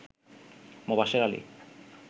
Mobashwer Ali